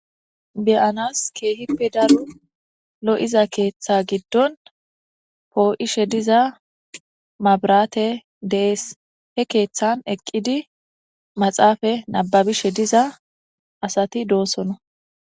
beyanas keehippe daro lo7iza keeththa giddon poo7ishe diza mabrate dees he keeththan eqqidi maxaafa nababishe diza asati doosona